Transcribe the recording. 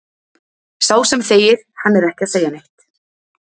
Sá sem þegir, hann er ekki að segja neitt.